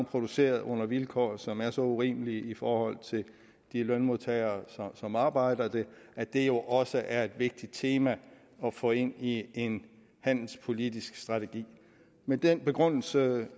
produceret under vilkår som er så urimelige for de lønmodtagere som arbejder der at det jo også er et vigtigt tema at få ind i en handelspolitisk strategi med den begrundelse